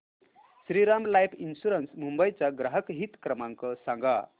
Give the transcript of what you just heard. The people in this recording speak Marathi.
श्रीराम लाइफ इन्शुरंस मुंबई चा ग्राहक हित क्रमांक सांगा